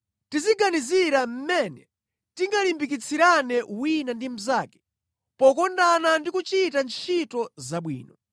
Tiziganizira mmene tingalimbikitsirane wina ndi mnzake pokondana ndi kuchita ntchito zabwino.